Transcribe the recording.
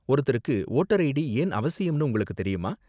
ஒருத்தருக்கு voter ID ஏன் அவசியம்னு உங்களுக்கு தெரியுமா?